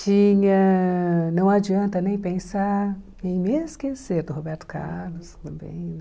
Tinha... Não adianta nem pensar em me esquecer do Roberto Carlos também, né?